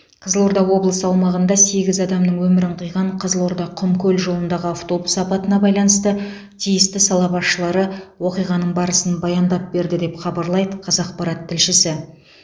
қызылорда облысы аумағында сегіз адамның өмірін қиған қызылорда құмкөл жолындағы автобус апатына байланысты тиісті сала басшылары оқиғаның барысын баяндап берді деп хабарлайды қазақпарат тілшісі